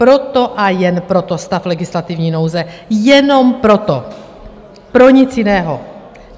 Proto a jen proto stav legislativní nouze, jenom proto, pro nic jiného.